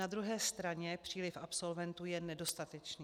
Na druhé straně příliv absolventů je nedostatečný.